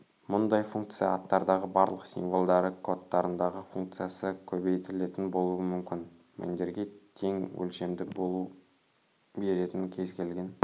мұндай функция аттардағы барлық символдары кодтарындағы функциясы көбейтілетін болуы мүмкін мәндерге тең өлшемді бөлу беретін кез-келген